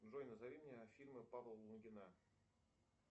джой назови мне фильмы павла лунгина